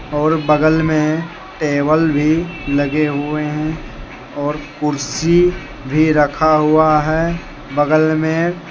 और बगल में टेबल भी लगे हुए हैं और कुर्सी भी रखा हुआ है बगल में ।